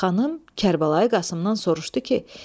Xanım Kərbəlayı Qasımdan soruşdu ki: